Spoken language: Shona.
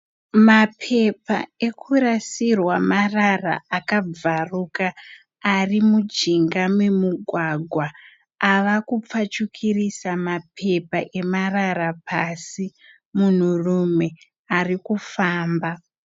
Mapepa ekurasirwa marara akabvaruka ari mujinga memugwagwa ava kupfachukirisa mapepa emarara pasi. Munhurume ari kufamba.